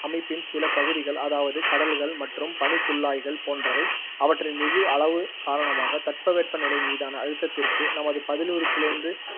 அமைப்பின் சில பகுதிகள், அதாவது கடல்கள் மற்றும் பனிக்குல்லாய்கள் போன்றவை, அவற்றின் மிகு அளவு காரணமாகத் தட்பவெப்ப நிலைமீதான அழுத்தத்திற்குத் நமது பதிலிறுப்பிலிருந்து